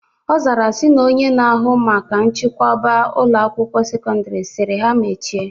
Ọ zara sị na Onye na-ahụ maka nchikoba Ụlọ akwụkwọ sekọndrị sịrị ha mechie